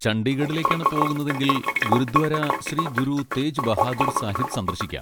ചണ്ഡീഗഡിലേക്കാണ് പോകുന്നതെങ്കിൽ ഗുരുദ്വാര ശ്രീ ഗുരു തേജ് ബഹാദൂർ സാഹിബ് സന്ദർശിക്കാം.